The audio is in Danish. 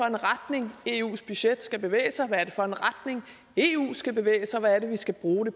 en retning eus budget skal bevæge sig i hvad er det for en retning eu skal bevæge sig i hvad er det vi skal bruge